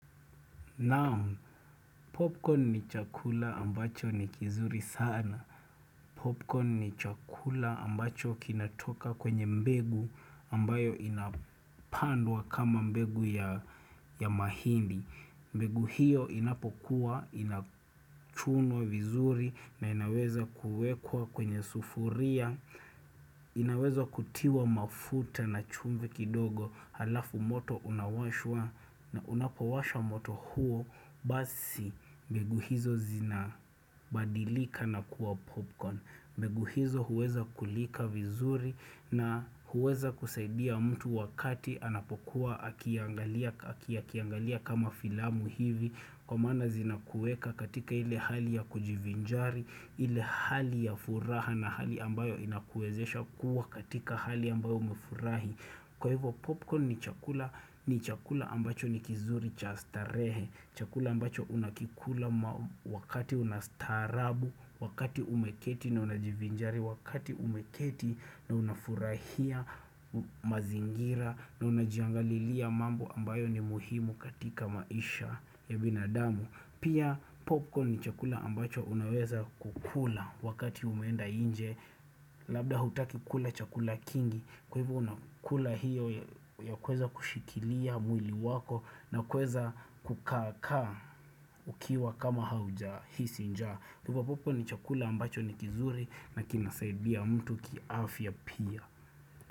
Naam, popcorn ni chakula ambacho ni kizuri sana. Popcorn ni chakula ambacho kinatoka kwenye mbegu ambayo inapandwa kama mbegu ya mahindi. Mbegu hiyo inapokuwa, inachuno vizuri na inaweza kuwekwa kwenye sufuria inaweza kutiwa mafuta na chumve kidogo Halafu moto unawashwa na unapowasha moto huo Basi mbegu hizo zina badilika na kuwa popcorn mbegu hizo huweza kulika vizuri na huweza kusaidia mtu wakati anapokuwa akiangalia kama filamu hivi Kwa mana zinakueka katika ile hali ya kujivinjari ile hali ya furaha na hali ambayo inakuezesha kuwa katika hali ambayo umefurahi Kwa hivyo popcorn ni chakula ambacho ni kizuri chastarehe Chakula ambacho unakikula wakati unastarabu Wakati umeketi na unajivinjari Wakati umeketi na unafurahia mazingira na unajiangalilia mambo ambayo ni muhimu katika maisha ya binadamu pia popcorn ni chakula ambacho unaweza kukula wakati umenda nje labda hutaki kula chakula kingi kwa hivu unakula hiyo ya kweza kushikilia mwili wako na kweza kukaka ukiwa kama hauja hisi nja kupa popcorn ni chakula ambacho ni kizuri na kinasaidia mtu kiafya pia.